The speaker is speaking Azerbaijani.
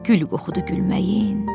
Gül qoxudu gülməyin.